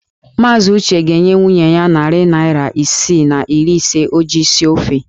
Maazị Uche ga-enye nwunye ya narị naira isii na iri ise o ji esi ofe.